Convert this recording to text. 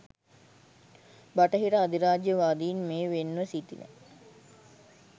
බටහිර අධිරාජ්‍ය වාදීන් මේ වෙන්ව සිටින